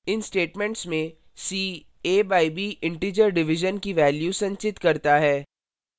इन statements में c a by b integer division की value संचित करता है